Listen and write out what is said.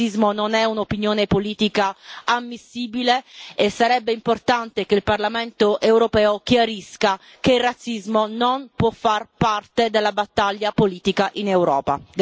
Il razzismo non è un'opinione politica ammissibile e sarebbe importante che il Parlamento europeo chiarisca che il razzismo non può far parte dalla battaglia politica in Europa.